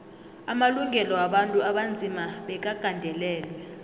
amalungelo wabantu abanzima bekagandelelwe